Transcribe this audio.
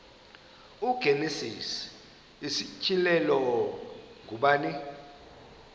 igenesis isityhilelo ngubani